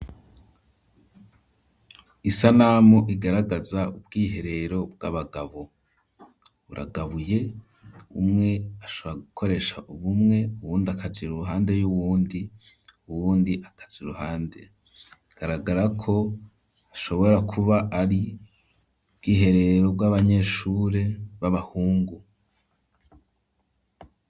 Isanamu igaragaza ubwiherero bw'abagabo, buragabuye umwe ashobora gukoresha bumwe, uwundi akaja iruhande y'uwundi, uwundi akaja iruhande; bigaragara ko ashobora kuba ari ubwiherero bw'abanyeshure b'abahungu.